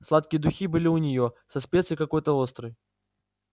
сладкие духи были у неё со специей какой-то острой